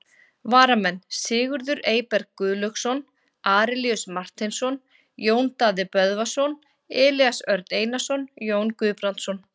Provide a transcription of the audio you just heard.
Varamenn: Sigurður Eyberg Guðlaugsson, Arilíus Marteinsson, Jón Daði Böðvarsson, Elías Örn Einarsson, Jón Guðbrandsson.